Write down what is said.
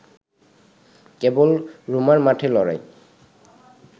কেবল রোমার মাঠে লড়াই